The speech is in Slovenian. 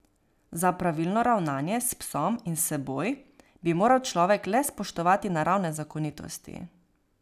Za pravilno ravnanje s psom in s seboj, bi moral človek le spoštovati naravne zakonitosti.